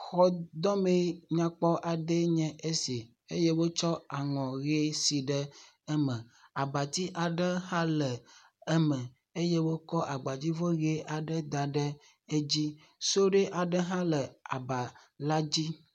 Xɔdɔme nyakpɔ aɖee nye esi eye wotsu aŋɔ ʋi si ɖe eme. Abati aɖe hã le eme eye wokɔ abadzivɔ ʋi da ɖe edzi, sudui aɖe hã le aba la dzi.